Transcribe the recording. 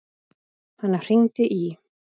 Hann hringdi í